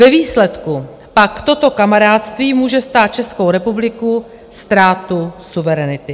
Ve výsledku pak toto kamarádství může stát Českou republiku ztrátu suverenity.